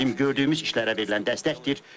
Bizim gördüyümüz işlərə verilən dəstəkdir.